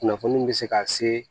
Kunnafoni be se ka se